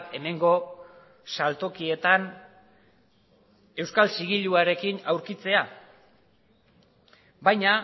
hemengo saltokietan euskal zigiluarekin aurkitzea baina